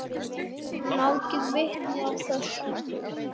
Urðu margir vitni að þessu.